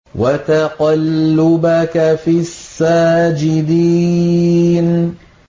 وَتَقَلُّبَكَ فِي السَّاجِدِينَ